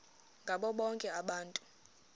ngabo bonke abantu